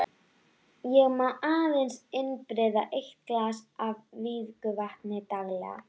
Ég má aðeins innbyrða eitt glas af vígðu vatni daglega.